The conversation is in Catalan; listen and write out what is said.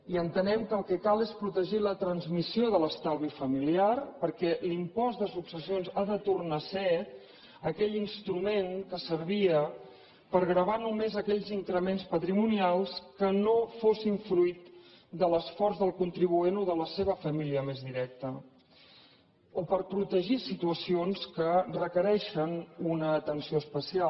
i entenem que el que cal és protegir la transmissió de l’estalvi familiar perquè l’impost de successions ha de tornar a ser aquell instrument que servia per gravar només aquells increments patrimonials que no fossin fruit de l’esforç del contribuent o de la seva família més directa o per protegir situacions que requereixen una atenció especial